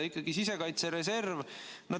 Ikkagi sisekaitse reserv.